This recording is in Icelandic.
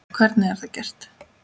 Hvernig er það gert?